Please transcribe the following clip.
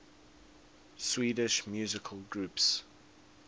swedish musical groups